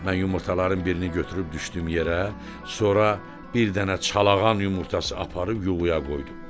Mən yumurtaların birini götürüb düşdüyüm yerə, sonra bir dənə Çalağan yumurtası aparıb yuvaya qoydum.